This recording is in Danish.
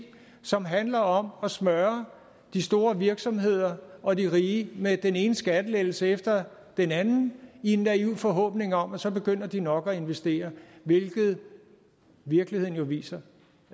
som handler om at smøre de store virksomheder og de rige med den ene skattelettelse efter den anden i en naiv forhåbning om at så begynder de nok at investere hvilket virkeligheden jo viser